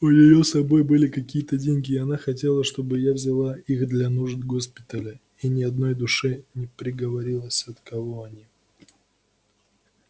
у неё с собой были какие-то деньги и она хотела чтобы я взяла их для нужд госпиталя и ни одной душе не проговорилась от кого они